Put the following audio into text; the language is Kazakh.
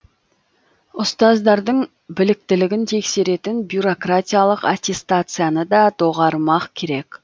ұстаздардың біліктілігін тексеретін бюрократиялық аттестацияны да доғармақ керек